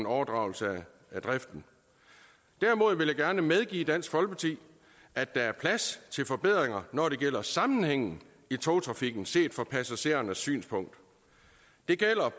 overdragelse af driften derimod vil jeg gerne medgive dansk folkeparti at der er plads til forbedringer når det gælder sammenhængen i togtrafikken set fra passagerernes synspunkt det gælder